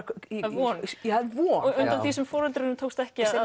von það er von sem foreldrunum tókst ekki